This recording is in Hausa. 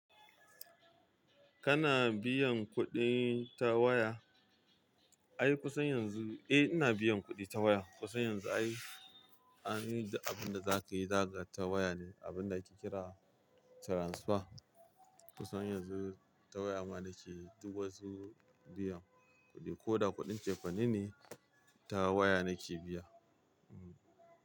Kana biyan kuɗi ta waya? Ai kusan yanzu, eh ina biyan kuɗi ta waya. Kusan yanzu ai, abin da zaka yi za ka yi ta waya ne, abin da kike kira transfer. Kusan yanzu ta waya ma nake duk wasu biyan kuɗi ko da kuɗin cefane ne ta waya nake biya.